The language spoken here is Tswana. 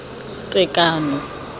tekano